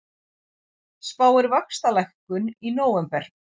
Spáir vaxtalækkun í nóvember